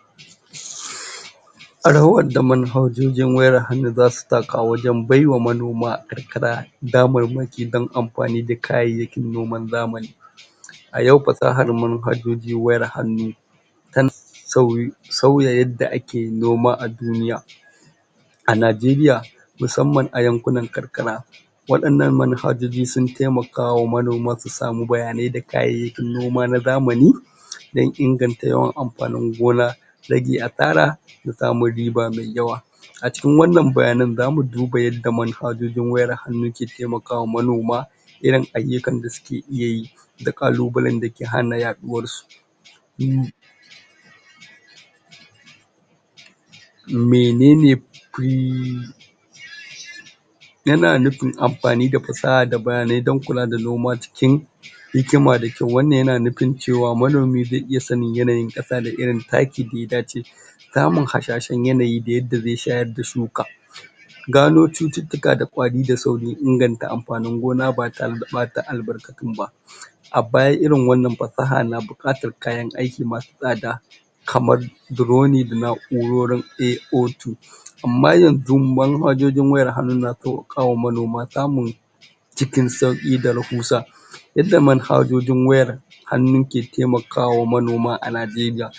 ? Rawar da manhajojin wayar hannu za su taka wajen baiwa manoman karkara damarmaki don amfani da kayayyakin noman zamani. A yau fasahar manhajojin wayar hannu don sauye sauya yadda ake noma a Duniya. A Nigeria musamman a yankunan karkara waɗannan manhajoji sun taimakawa manoma su samu bayanai da kayayyakin noma na zamani, don inganta yawan amfanin gona, rage asara da samun riba mai yawa. A cikin wannan bayanan za mu duba yadda manhajojin wayar hannu ke taimakawa manoma, irin ayyukan da su ke iya yi, da ƙalubalen da ke hana yaɗuwarsu.? menene? yana nufin amfani da fasaha don kula da noma cikin hikima da kyau, wannan ya na nufin manomi zai iya sanin yanayin ƙasa da irin taki da ya dace, samun hasashen yanayi da yadda zai shayar da shuka gano cututtuka da ƙwari da saurin inganta amfanin gona ba ta re da ɓata albarkatun ba. A baya irin wannan fasaha na buƙatar kayan aiki ma su tsada kamar: Drone da na'urorin AO2, amma yanzu manhajojin wayar hannu na sauƙaƙawa manoma samun cikin sauƙi da rahusa. Illar manhajojin wayar hannu ke taimakawa manoma a Nigeria.